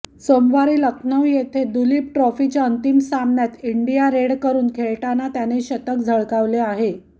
सोमवारी लखनऊ येथे दुलीप ट्रॉफीच्या अंतिम सामन्यात इंडिया रेडकडून खेळताना त्याने शतक झळकावले आहे